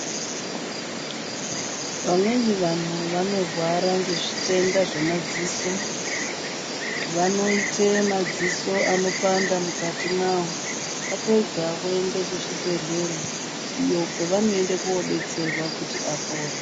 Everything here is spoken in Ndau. Vamweni vanhu vanorwara ngezvitenda zvemadziso vanoite madziso anopanda mukati mawo vapedza voenda kuzvibhedhlera iyo kwavanoende kodetserwa kuti apore.